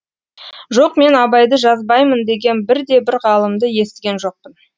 жоқ мен абайды жазбаймын деген бірде бір ғалымды естіген жоқпын